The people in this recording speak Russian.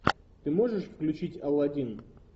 ты можешь включить аладдин